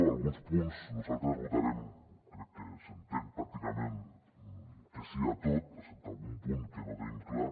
en alguns punts nosaltres votarem crec que s’entén pràcticament que sí a tot excepte en algun punt que no tenim clar